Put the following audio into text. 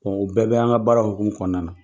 o bɛɛ b' an ka baara hokumu kɔnɔna.